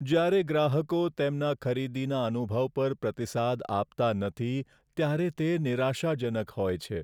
જ્યારે ગ્રાહકો તેમના ખરીદીના અનુભવ પર પ્રતિસાદ આપતા નથી, ત્યારે તે નિરાશાજનક હોય છે.